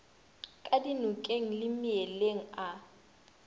ka dinokeng le meeleng a